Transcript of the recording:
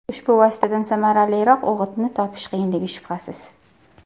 Ushbu vositadan samaraliroq o‘g‘itni topish qiyinligi shubhasiz.